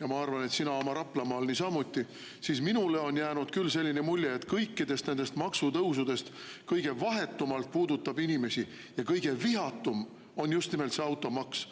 ja ma arvan, et sina Raplamaal niisamuti – on minule jäänud selline mulje, et kõikidest nendest maksutõusudest kõige vahetumalt puudutab inimesi ja kõige vihatum on just nimelt automaks.